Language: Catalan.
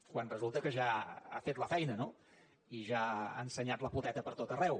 quan resulta que ja ha fet la feina no i ja ha ensenyat la poteta pertot arreu